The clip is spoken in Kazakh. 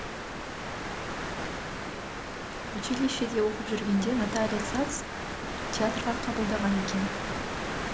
училищеде оқып жүргенде наталия сац театрға қабылдаған екен